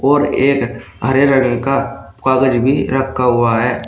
और एक हरे रंग का कागज भी रखा हुआ है।